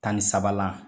Tan ni sabanan